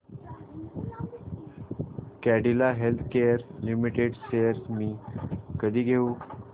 Cadila healthcare limited shares मी कधी घेऊ